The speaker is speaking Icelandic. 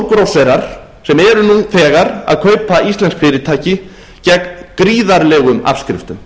stórgrósserar sem eru nú þegar að kaupa íslensk fyrirtæki gegn gríðarlegum afskriftum